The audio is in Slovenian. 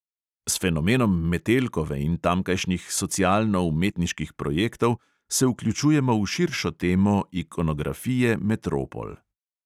S fenomenom metelkove in tamkajšnjih socialno-umetniških projektov se vključujemo v širšo temo ikonografije metropol.